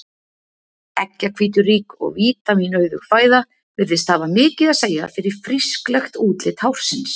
Eggjahvíturík og vítamínauðug fæða virðist hafa mikið að segja fyrir frísklegt útlit hársins.